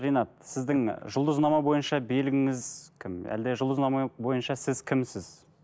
ринат сіздің жұлдызнама бойынша белгіңіз кім әлде жұлдызнама бойынша сіз кімсіз